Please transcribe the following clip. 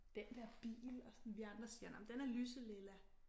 Den der bil og sådan vi andre siger nåh men den er lyselilla